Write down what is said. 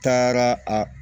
Taara a